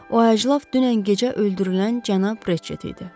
O əclaf dünən gecə öldürülən cənab Reçet idi.